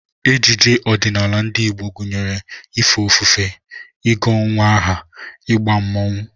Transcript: Ejije ọdịnala ndị Igbo gụnyere ife ofufe, ịgụ nnwa aha, ịgba mmọnwụ